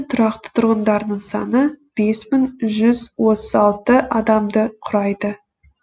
тұрақты тұрғындарының саны бес мың бір жүз отыз үш адамды құрайды